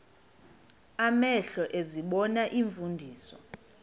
amehlo ezibona iimfundiso